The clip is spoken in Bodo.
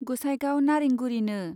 गोसाइगाव नारेंगुरीनो।